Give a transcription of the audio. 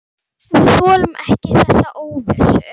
Við þolum ekki þessa óvissu.